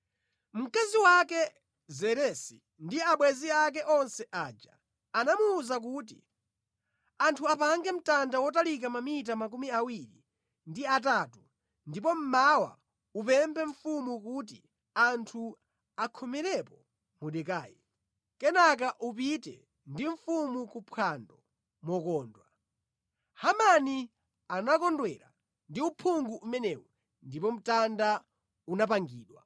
Mkazi wake Zeresi ndi abwenzi ake onse aja anamuwuza kuti, “Anthu apange mtanda wotalika mamita 23 ndipo mmawa upemphe mfumu kuti anthu akhomerepo Mordekai. Kenaka upite ndi mfumu kuphwando mokondwa.” Hamani anakondwera ndi uphungu umenewu ndipo mtanda unapangidwa.